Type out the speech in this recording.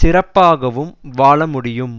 சிறப்பாகவும் வாழமுடியும்